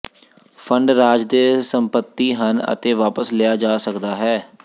fund ਰਾਜ ਦੇ ਸੰਪਤੀ ਹਨ ਅਤੇ ਵਾਪਸ ਲਿਆ ਜਾ ਸਕਦਾ ਹੈ